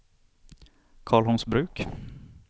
Karlholmsbruk